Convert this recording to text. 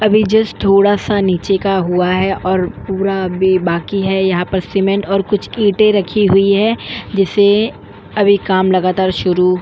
अभी जस्ट थोड़ा सा नीचे का हुआ है और पूरा अभी बाकी है यहां पर सीमेंट और कुछ ईंट रखी हुई है जिसे अभी काम लगातार शुरू --